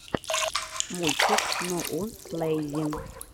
мультик ноууанслэйзи